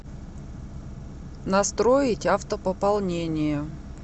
настроить автопополнение